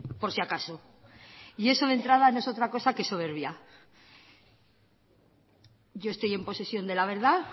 por si acaso eso de entrada no es otra cosa que soberbia yo estoy en posesión de la verdad